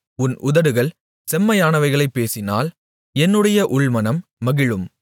உன் உதடுகள் செம்மையானவைகளைப் பேசினால் என்னுடைய உள்மனம் மகிழும்